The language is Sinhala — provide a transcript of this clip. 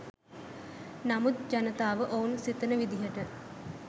නමුත් ජනතාව ඔවුන් සිතන විදිහට